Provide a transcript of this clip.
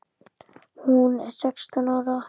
Hún er sextán ára.